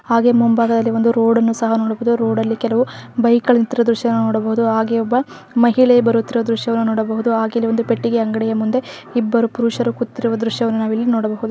ಹಾಗೆ ಮುಂಭಾಗದಲ್ಲಿ ಒಂದು ರೋಡನ್ನು ಸಹ ನೋಡಬಹುದು ರೋಡಲ್ಲಿ ಕೆಲವು ಬೈಕ್ಗಳು ನಿತ್ತಿರುವ ದ್ರಶ್ಯವನ್ನು ನೋಡಬಹುದು ಹಾಗೆಯೆ ಒಬ್ಬ ಮಹಿಳೆಯು ಬರುತ್ತಿರುವ ದ್ರಶ್ಯವನ್ನು ನೋಡಬಹುದು ಹಾಗೆಯೆ ಇಲ್ಲಿ ಒಂದು ಪೆಟ್ಟಿಗೆ ಅಂಗಡಿಯ ಮುಂದೆ ಇಬ್ಬರು ಪುರುಷರು ಕೂತಿರುವ ದ್ರಶ್ಯವನ್ನು ನಾವಿಲ್ಲಿ ನೋಡಬಹುದು.